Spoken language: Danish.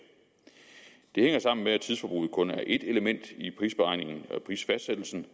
det hænger sammen med at tidsforbruget kun er ét element i prisberegningen og prisfastsættelsen